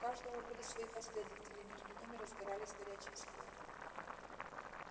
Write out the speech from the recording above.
у каждого были свои последователи и между ними разгорались горячие споры